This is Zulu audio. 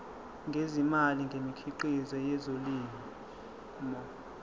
ngezimali ngemikhiqizo yezolimo